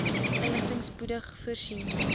inligting spoedig voorsien